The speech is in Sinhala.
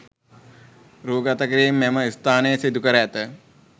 රූ ගතකිරීම් මෙම ස්ථානයේ සිදුකර ඇත.